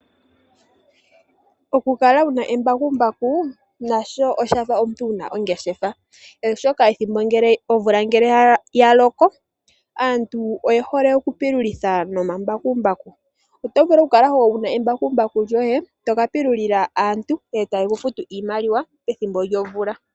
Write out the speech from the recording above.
Okukala wuna embakumbaku nasho oshafa omuntu wuna ongeshefa , oshoka ngele omvula yaloko aantu oye hole okupululitha nombakumbaku . Oto vulu okukala wuna embakumbaku etoka pilulila aantu , etaye kufutu iimaliwa pethimbo lyomvula.